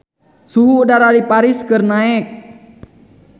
Suhu udara di Paris keur naek